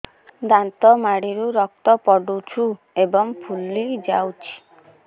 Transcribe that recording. ଦାନ୍ତ ମାଢ଼ିରୁ ରକ୍ତ ପଡୁଛୁ ଏବଂ ଫୁଲି ଯାଇଛି